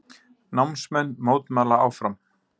Námsmenn mótmæla áfram